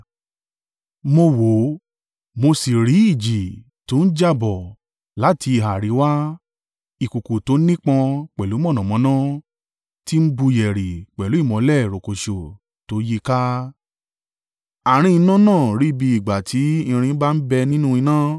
Mo wò, mo sì rí ìjì tó ń jà bọ̀ láti ìhà àríwá ìkùùkuu tó nípọn pẹ̀lú mọ̀nàmọ́ná ti n bù yẹ̀rì pẹ̀lú ìmọ́lẹ̀ rokoṣo tó yí i ká. Àárín iná náà rí bí ìgbà tí irin bá ń bẹ nínú iná,